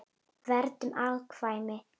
Verndun afkvæma